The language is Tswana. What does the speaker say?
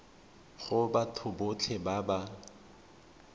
go batho botlhe ba ba